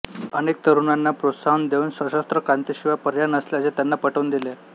अनेक तरुणांना प्रोत्साहन देऊन सशस्त्र क्रांतीशिवाय पर्याय नसल्याचे त्यांना पटवून दिले